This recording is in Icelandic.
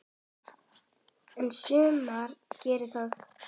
En sumar gera það.